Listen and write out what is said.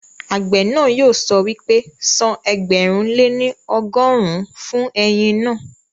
Àgbẹ̀ náà yóò sọ wípé, san ẹgbẹ̀rún lé ní ọgọ́rùn-ún fún ẹ̀yìn naa